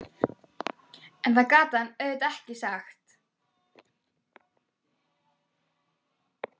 En það gat hann auðvitað ekki sagt.